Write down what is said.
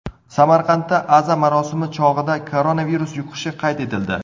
Samarqandda aza marosimi chog‘ida koronavirus yuqishi qayd etildi.